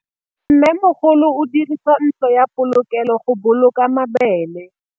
Mmêmogolô o dirisa ntlo ya polokêlô, go boloka mabele.